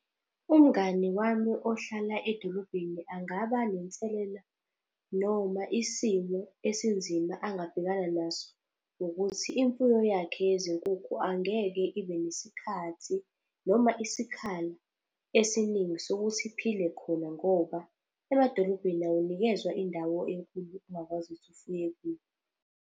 Umngani wami ohlala edolobheni angaba nenselela noma isimo esinzima angabhekana naso ngokuthi, imfuyo yakhe yezinkukhu angeke ibe nesikhathi noma isikhala esiningi sokuthi iphile khona ngoba emadolobheni awunikezwa indawo enkulu ongakwazi ukuthi ufuye kuyo.